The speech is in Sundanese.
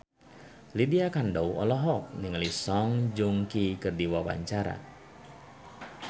Lydia Kandou olohok ningali Song Joong Ki keur diwawancara